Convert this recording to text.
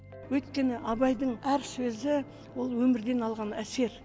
өйткені абайдың әр сөзі ол өмірден алған әсер